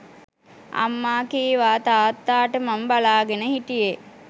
අම්මා කීවා තාත්තාට මම බලාගෙන හිටියේ